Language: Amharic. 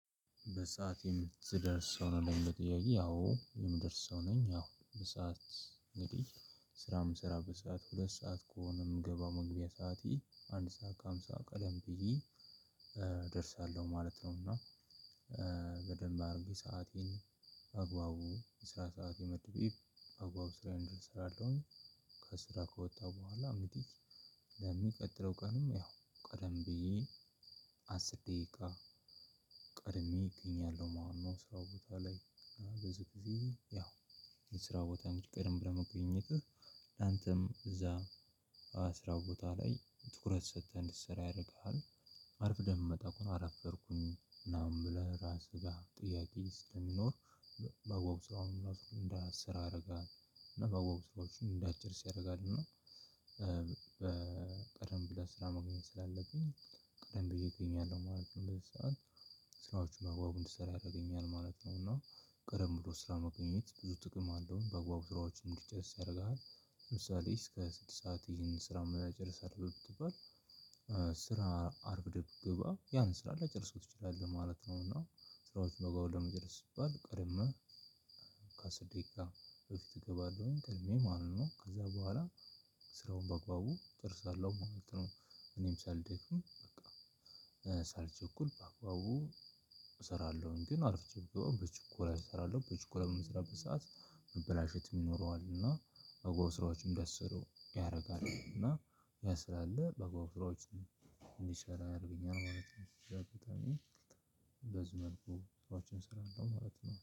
በሰአት የምትደርስ ሰው ነህ ለሚለው ጥያቄ አዎ የምደርስ ሰው ነኝ ያው በሰአት እንግዲህ ስራ የምሰራበት ሰዓት ሁለት ሰዓት ከሆነ የምገባው መግቢያ ሰዓት ይሄ አንድ ሰዓት ከሃምሳ ቀደም ብዬ ማለት ነው እና በደንብ አድርጌ ሰአቴን በአግባቡ የስራ ሰዓት መድቤ በአግባቡ ስራዬን እንድል እሰራለሁኝ ከስራ ከወጣ በኋላ አምጥቼ ለሚቀጥለው ቀንም ያው ቀደም ብዬ አስር ደቂቃ ቀድሜ እገኛለሁ ማለት ነው። ስራው ቦታ ላይ ብዙ ጊዜ ያው የስራው ቦታ እንዲቀድም ብለህ መገኘትህ ላንተም እዛ ስራ ቦታህ ላይ ትኩረት ሰተህ እንድትሰራ ያደርግሃል። አርፍደህ የምትመጣ ከሆነ አረፈድኩኝ ምናምን ብለህ ራስህ ላይ ጥያቄ ስለሚኖር በአግባቡ ስራውንም እንዳትሰራ ያደርግሃል እና በአግባቡ ስራዎችን እንዳትጨርስ ያረግሃል። እና በቀደም ብለህ ስራ መገኘት ስላለብኝ ቀደም ብዬ እገኛለሁ ማለት ነው። በዚህ ሰዓት ስራዎች በአግባቡ እንድሰራ ያደርገኛል ማለት ነው። እና ቀደም ብሎ ስራ መገኘት ብዙ ጥቅም አለው በአግባቡ ስራዎች እንድጨስ ያደርግሃል። ለምሳሌ እስከ ስድስት ሰዓት ይሄንን ስራ መላ ጨርሳለሁ ብትባል ስራ አርፍደህ ብገባ ያን ስራ ላጨርሰው ትችላለህ ማለት ነው። እና ስራዎች ባግባቡ ለመጨረስ ሲባል ቀደመ ከአስር ደቂቃ በፊት እገባለሁኝ ቀድሜ ማለት ነው ከዛ በኋላ ስራውን በአግባቡ እጨርሳለሁ ማለት ነው። እኔም ሳልደክም በቃ ሳልቸኩል በአግባቡ እሰራለሁኝ ግን አርፍጄ በገባ በችኮላ እሰራለሁ በችኮላ በምሰራበት ሰዓት መበላሸት የሚኖረው እና በአግባቡ ስራዎችን እንዳይሰሩ ያደርጋሉ እና ያ ስላለ በአግባቡ ስራዎችን እንዲሰራ ያረገኛል ማለት ነው። በዚ መልኩ ስራዎችን እሰራለው ማለት ነው